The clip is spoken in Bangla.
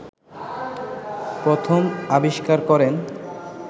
প্রথম আবিষ্কার করেন